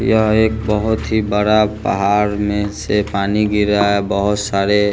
यह एक बहुत ही बड़ा पहाड़ में से पानी गिर रहा है बहुत सारे --